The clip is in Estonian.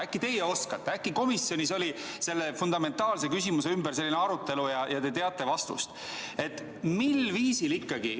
Äkki teie oskate, äkki komisjonis oli selle fundamentaalse küsimuse ümber arutelu ja te teate vastust?